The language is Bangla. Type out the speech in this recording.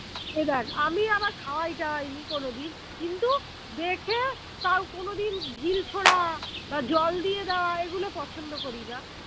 এই দ্যাখ আমি আবার খাওয়াই টাওয়াইনি কোনোদিন কিন্তু দেখে তাও কোনোদিন ঢিল ছোঁড়া বা জল দিয়ে দেওয়া এগুলো পছন্দ করিনা